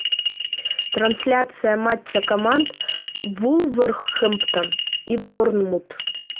трансляция матча команд вулверхэмптон и борнмут